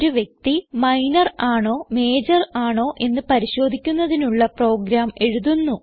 ഒരു വ്യക്തി മൈനർ ആണോ മജോർ ആണോ എന്ന് പരിശോധിക്കുന്നതിനുള്ള പ്രോഗ്രാം എഴുതുന്നു